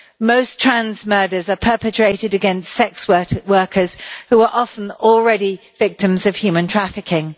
Most trans murders are perpetrated against sex workers who are often already victims of human trafficking.